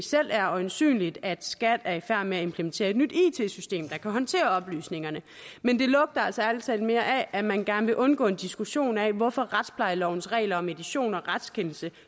selv er øjensynligt at skat er i færd med at implementere et nyt it system der kan håndtere oplysningerne men det lugter altså ærlig talt mere af at man gerne vil undgå en diskussion af hvorfor retsplejelovens regler om edition og retskendelse